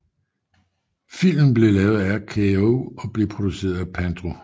Filmen blev lavet af RKO og blev produceret af Pandro S